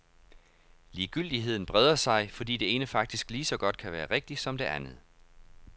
Ligegyldigheden breder sig, fordi det ene faktisk lige så godt kan være rigtigt som det andet.